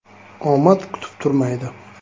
Omad kutib turmaydi.